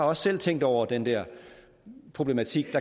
også selv tænkt over den der problematik